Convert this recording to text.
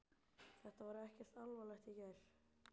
Þetta var ekkert alvarlegt í gær.